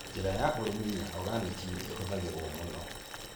Njĩra ya ũrĩmi ya oganiki nĩ ihũthagĩrũo mũno.